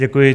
Děkuji.